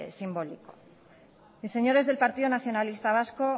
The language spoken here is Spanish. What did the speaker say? simbólico y señores del partido nacionalista vasco